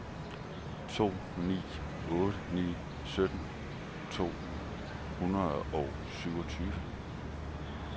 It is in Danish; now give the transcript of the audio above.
to ni otte ni sytten to hundrede og syvogtyve